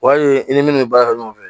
O y'a ye i ni minnu bɛ baara kɛ ɲɔgɔn fɛ